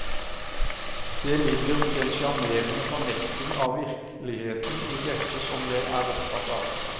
Det ligger en sjarmerende fornekting av virkeligheten i dette som jeg er opptatt av.